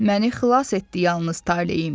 Məni xilas etdi yalnız taleyim.